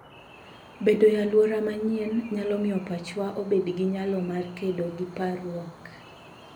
Bedo e alwora manyien nyalo miyo pachwa obed gi nyalo mar kedo gi parruok.